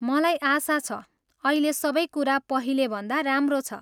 मलाई आशा छ अहिले सबै कुरा पहिलेभन्दा राम्रो छ?